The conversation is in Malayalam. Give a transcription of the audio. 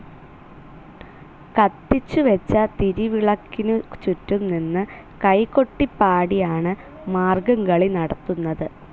കത്തിച്ചുവെച്ച തിരിവിളക്കിനു ചുറ്റും നിന്ന് കൈകൊട്ടിപാടിയാണ് മാർഗംകളി നടത്തുന്നത്.